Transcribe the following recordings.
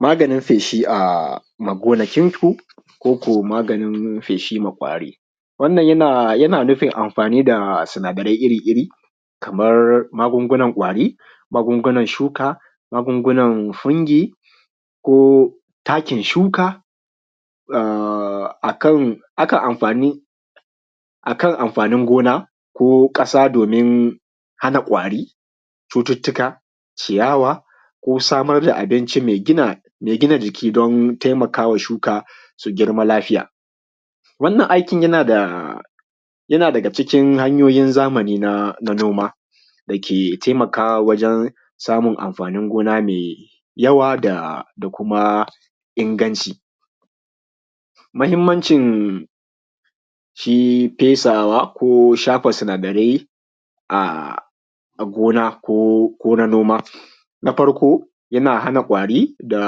Ma ganin feshi a gonakin ku koko magani feshi ma kwari. Wannan yana nufin amfani da sinadarai iri iri kamar magungunan kwari, magungunan shuka, magungunan fungi, ko takin shuka, a kan amfanin gona ko ƙasa domin hana kwari, cuttutuka, ciyawa ko samar da abinci mai gina jiki don taimaka wa shuka su girma lafiya. Wannan aikin yana daga cikin hanyoyin zamani na noma da ke taimaka wajen samun amfanin noma mai yawa da kuma inganci mahimmanci shi fesawa ko shafa sunadarai a gona ko na noma. Na farko yana hana ƙwari da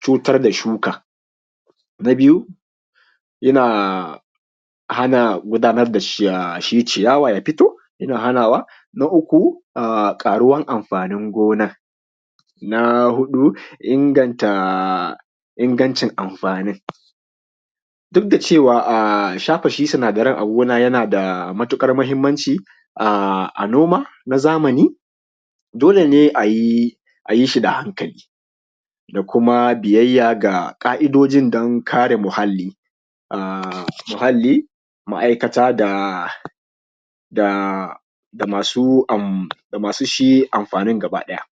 cutar da shuka. Na biyu yana hana gudanar da shi ciyawa ya fito yana hanawa. Na uku ƙaruwar amfanin gonan. Na hudu inganta amfanin duk da cewa shafa shi sinadaran a gona yana da matukar mahimmanci a noma na zamani, dole ne ayi shi na hankali da kuma biyyaya ga ƙa’idojin don kare muhalli, muhalli, ma’aikata da ma su shi amfanin gaba ɗaya